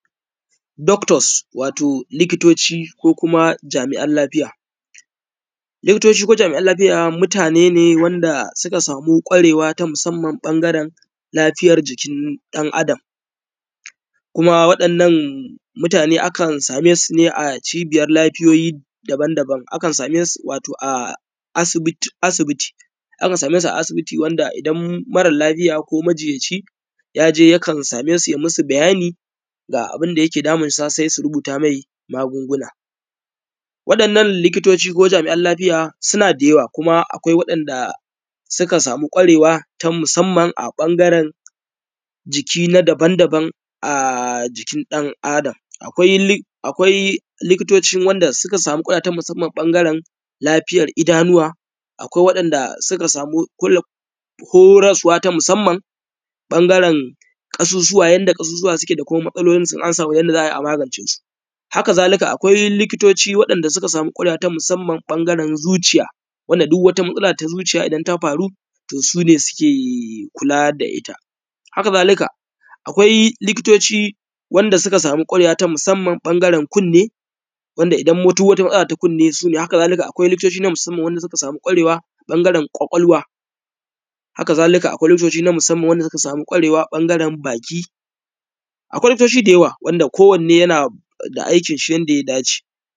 doctors wato likitoci ko kuma jami’an lafiya likitoci ko kuma jami’an lafiya mutane ne wanda suka samu ƙwarewa ta musamman ɓangaren lafiyar jikin ɗan adam kuma waɗannan mutane akan same su ne a cibiyar lafiyoyi daban daban akan same su wato a asibiti akan same su a asibiti wanda idan mara lafiya ko majinyaci ya je yakan same su ya yi musu bayani ga abin da yake damunsa sai su rubuta mai magunguna waɗannan likitoci ko jami’an lafiya suna da yawa kuma akwai waɗanda sukan samu ƙwarewa ta musamman a ɓangaren jiki na daban daban a jikin ɗan adam akwai likitocin wanda suka samu ƙwarewa ta musamman a ɓangaren idanuwa akwai waɗanda suka samu horaswa ta musamman ɓangaren ƙasusuwa yanda ƙasusuwa suke da kuma matsalolinsu in an samu yanda za a yi a magance su haka zalika akwai likitoci waɗanda suka samu ƙwarewa ta musamman ɓangaren zuciya wanda duk wata matsala ta zuciya idan ta faru to su ne suke kula da ita haka zalika akwai likitoci wanda suka samu ƙwarewa ta musamman a ɓangaren kunne wanda idan duk wata matsala su ne haka zalika akwai likitoci na musamman wanda suka samu ƙwarewa a ɓangaren ƙwaƙwalwa wanda idan duk wata matsala su ne xxx haka zalika akwai likitoci na musamman wanda suka samu ƙwarewa a ɓangaren baki akwai likitoci da yawa wanda kowanne yana da aikinshi yadda ya dace